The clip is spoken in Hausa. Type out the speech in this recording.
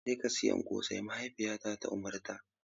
Jeka siyan ƙosai, mahaifiyata ta umarta.